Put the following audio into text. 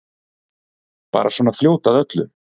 Bara svona fljót að öllu.